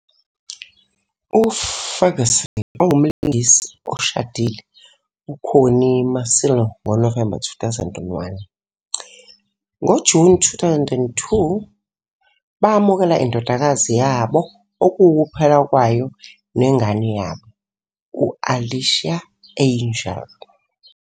UFerguson ongumlingisi oshadile uConnie Masilo ngoNovemba 2001. NgoJuni 2002, bamukela indodakazi yabo okuwukuphela kwayo nengane yabo, u-Alicia Angel.